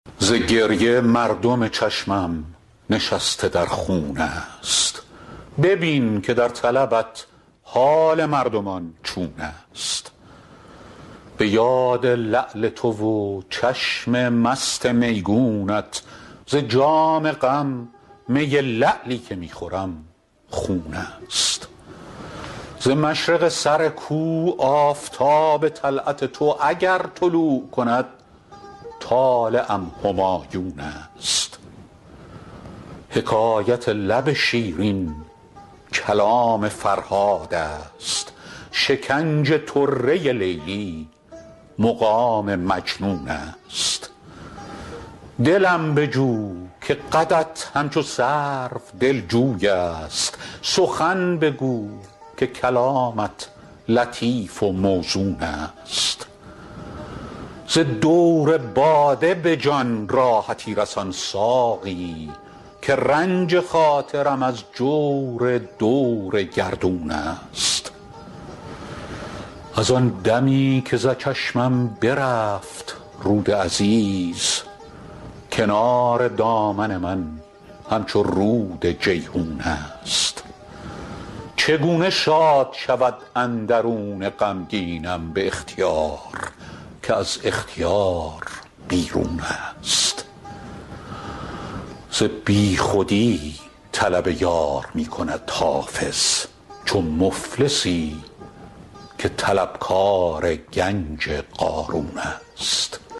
ز گریه مردم چشمم نشسته در خون است ببین که در طلبت حال مردمان چون است به یاد لعل تو و چشم مست میگونت ز جام غم می لعلی که می خورم خون است ز مشرق سر کو آفتاب طلعت تو اگر طلوع کند طالعم همایون است حکایت لب شیرین کلام فرهاد است شکنج طره لیلی مقام مجنون است دلم بجو که قدت همچو سرو دلجوی است سخن بگو که کلامت لطیف و موزون است ز دور باده به جان راحتی رسان ساقی که رنج خاطرم از جور دور گردون است از آن دمی که ز چشمم برفت رود عزیز کنار دامن من همچو رود جیحون است چگونه شاد شود اندرون غمگینم به اختیار که از اختیار بیرون است ز بیخودی طلب یار می کند حافظ چو مفلسی که طلبکار گنج قارون است